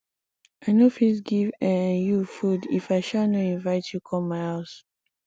i no fit give um you food if i um no invite you come my house